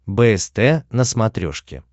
бст на смотрешке